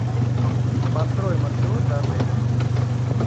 построй маршрут до отеля